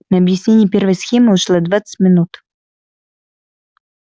на объяснение первой схемы ушло двадцать минут